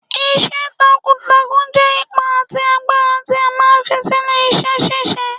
Iṣẹ́ takuntakun jẹ́ ipá àti agbára tí a máa ń fi sínú iṣẹ́ ṣíṣe.